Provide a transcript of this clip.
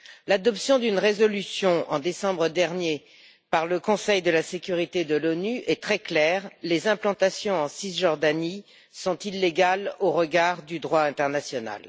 L'adoption d'une résolution, en décembre dernier, par le Conseil de sécurité de l'ONU est très claire les implantations en Cisjordanie sont illégales au regard du droit international.